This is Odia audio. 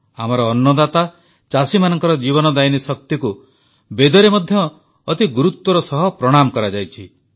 ଆମର ଅନ୍ନଦାତା ଚାଷୀମାନଙ୍କ ଜୀବନଦାୟିନୀ ଶକ୍ତିକୁ ବେଦରେ ମଧ୍ୟ ଅତି ଗୁରୁତ୍ୱର ସହ ପ୍ରଣାମ କରାଯାଇଛି